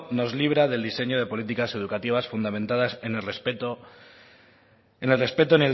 nos libra del diseño de políticas educativas fundamentadas en el respeto